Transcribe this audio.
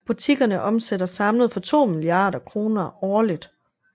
Butikkerne omsætter samlet for 2 milliarder kroner årligt